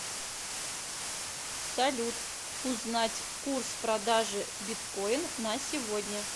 салют узнать курс продажи биткоин на сегодня